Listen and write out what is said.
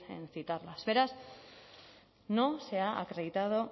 en citarlas beraz no se ha acreditado